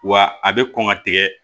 Wa a bɛ kɔn ka tigɛ